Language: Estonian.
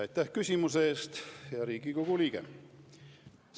Aitäh küsimuse eest, hea Riigikogu liige!